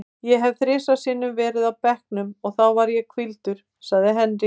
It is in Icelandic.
Ég hef bara þrisvar sinnum verið á bekknum og þá var ég hvíldur, sagði Henry.